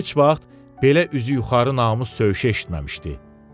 Heç vaxt belə üzü yuxarı namus söyüşü eşitməmişdi.